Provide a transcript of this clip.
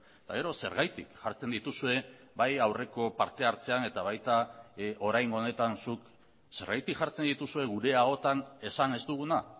eta gero zergatik jartzen dituzue bai aurreko parte hartzean eta baita oraingo honetan zuk zergatik jartzen dituzue gure ahotan esan ez duguna